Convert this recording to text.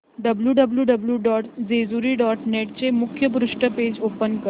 W W W dot Jejuri dot net चे मुखपृष्ठ page open कर